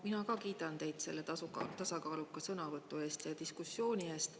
Mina ka kiidan teid selle tasakaaluka sõnavõtu ja diskussiooni eest.